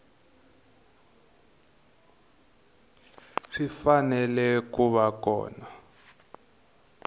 swi fanele ku va kona